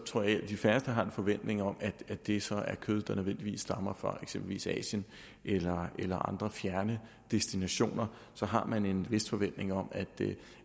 tror jeg at de færreste har en forventning om at det så er kød der nødvendigvis stammer fra eksempelvis asien eller eller andre fjerne destinationer så har man en vis forventning om at det